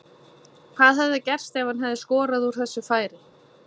Hvað hefði gerst ef hann hefði skorað úr þessu færi?